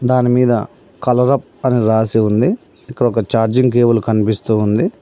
దాని మీద colour up అని రాసి ఉంది ఇక్కడ ఒక ఛార్జింగ్ కేబుల్ కనిపిస్తూ ఉంది.